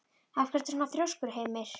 Af hverju ertu svona þrjóskur, Hymir?